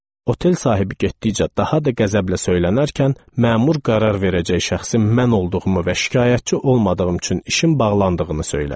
Otel sahibi getdikcə daha da qəzəblə söylənərkən, məmur qərar verəcək şəxsin mən olduğumu və şikayətçi olmadığım üçün işin bağlandığını söylədi.